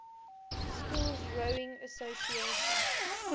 schools rowing association